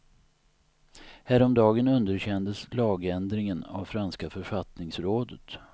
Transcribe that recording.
Häromdagen underkändes lagändringen av franska författningsrådet.